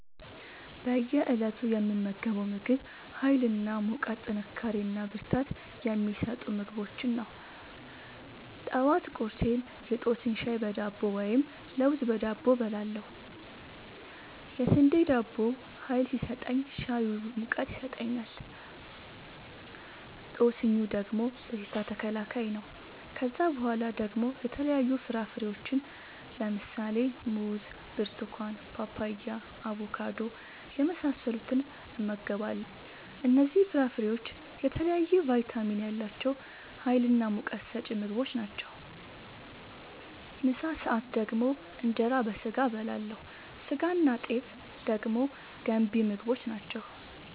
በእየ እለቱ የምመገበው ምግብ ሀይል እና ሙቀት ጥንካሬና ብርታት የሚሰጡ ምግቦችን ነው። ጠዋት ቁርሴን የጦስኝ ሻይ በዳቦ ወይም ለውዝ በዳቦ እበላለሁ። የስንዴ ዳቦው ሀይል ሲሰጠኝ ሻዩ ሙቀት ይሰጠኛል። ጦስኙ ደግሞ በሽታ ተከላካይ ነው። ከዛ በኋላ ደግሞ የተለያዩ ፍራፍሬዎችን(ሙዝ፣ ብርቱካን፣ ፓፓያ፣ አቦካዶ) የመሳሰሉትን እመገባለሁ እነዚህ ፍራፍሬዎች የተለያየ ቫይታሚን ያላቸው ሀይልናሙቀት ሰጪ ምግቦች ናቸው። ምሳ ሰአት ደግሞ እንጀራ በስጋ አበላለሁ ስጋናጤፍ ደግሞ ገንቢ ምግቦች ናቸው